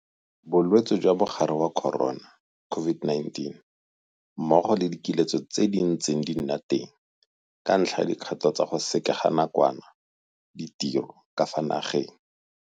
Bolwetse jwa Mogare wa Corona, COVID-19, mmogo le dikiletso tse di ntseng di nna teng ka ntlha ya dikgato tsa go sekeganakwana ditiro tsa ka fa nageng.